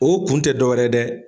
O kun tɛ dɔwɛrɛ ye dɛ.